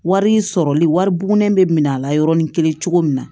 Wari sɔrɔli wari bugunen bɛ minɛ a la yɔrɔnin kelen cogo min na